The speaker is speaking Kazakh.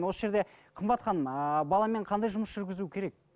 осы жерде қымбат ханым ыыы баламен қандай жұмыс жүргізу керек